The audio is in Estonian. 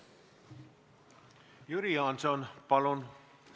Jüri Jaanson, palun!